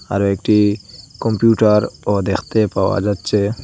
আরও একটি কম্পিউটার ও দেখতে পাওয়া যাচ্ছে।